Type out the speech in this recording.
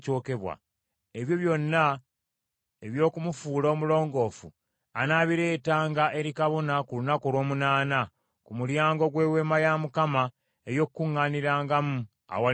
Ebyo byonna eby’okumufuula omulongoofu anaabireetanga eri kabona ku lunaku olw’omunaana, ku mulyango gw’Eweema ey’Okukuŋŋaanirangamu, awali Mukama .